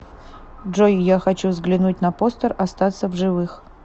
джой я хочу взглянуть на постер остаться в живых